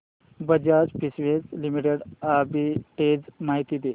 Bajaj Finserv limited arbitrage माहिती दे